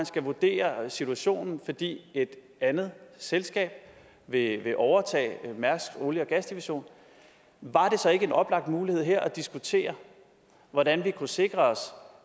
skal vurdere situationen fordi et andet selskab vil overtage mærsk olie og gas division var det så ikke en oplagt mulighed her at diskutere hvordan vi kunne sikre os